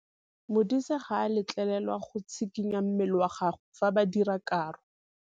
Modise ga a letlelelwa go tshikinya mmele wa gagwe fa ba dira karô.